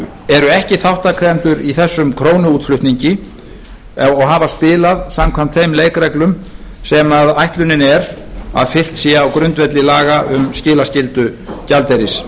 eru ekki þátttakendur í þessum krónuútflutningi og hafa spilað samkvæmt þeim leikreglum sem ætlunin er að fylgt sé á grundvelli laga um skilaskyldu gjaldeyris